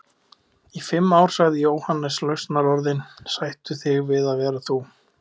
Í fimm ár sagði Jóhannes lausnarorðin: Sættu þig við að vera þú.